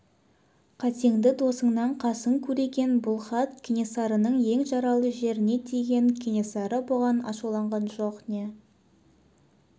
қатеңді досыңнан қасың көреген бұл хат кенесарының ең жаралы жеріне тиген кенесары бұған ашуланған жоқ не